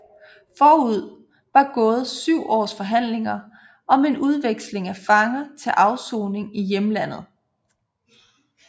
Forud var gået syv års forhandlinger om en udveksling af fanger til afsoning i hjemlandet